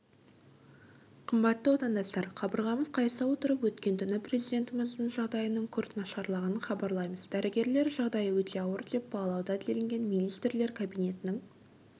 қымбатты отандастар қабырғамыз қайыса отырып өткен түні президентіміздің жағдайының күрт нашарлағанын хабарлаймыз дәрігерлер жағдайы өте ауыр деп бағалауда делінген министрлер кабинетінің